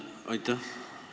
Aitäh!